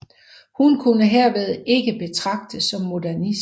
Hun kunne herved ikke betragtes som modernist